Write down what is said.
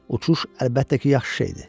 Uçuş əlbəttə ki, yaxşı şeydir.